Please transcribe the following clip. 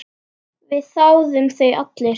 Við þáðum þau allir.